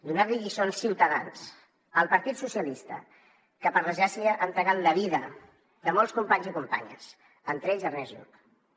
donar li lliçons ciutadans al partit socialista que per desgràcia ha entregat la vida de molts companys i companyes entre ells ernest lluch